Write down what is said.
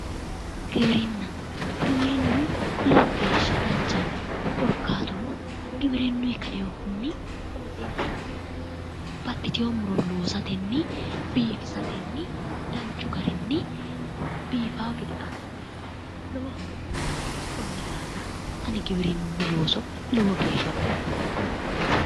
Giwirinna, giwirinu lowo geeshsha danchaho, korkaatuno giwirinunni kainohunni baxxitino muro loosateni, biifisateni, danchu garinni biifano gede assine la'nanni, koni daafira ani giwirinu looso lowo geeshsha baxeemma".